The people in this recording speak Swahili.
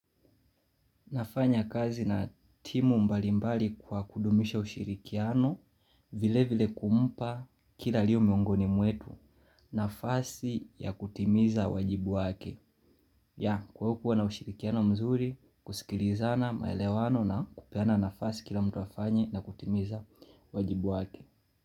Nafanya kazi na timu mbalimbali kwa kudumisha ushirikiano vile vile kumpa kila alio miongoni mwetu nafasi ya kutimiza wajibu wake ya kwa hukuwa na ushirikiano mzuri kusikilizana maelewano na kupeana nafasi kila mtu afanye na kutimiza wajibu wake.